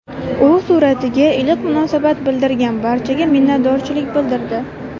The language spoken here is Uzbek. U suratiga iliq munosabat bildirgan barchaga minnatdorchilik bildirdi.